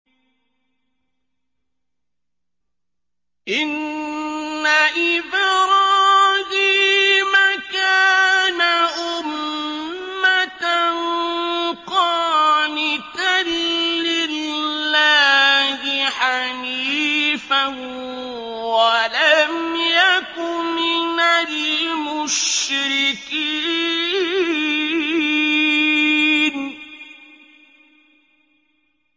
إِنَّ إِبْرَاهِيمَ كَانَ أُمَّةً قَانِتًا لِّلَّهِ حَنِيفًا وَلَمْ يَكُ مِنَ الْمُشْرِكِينَ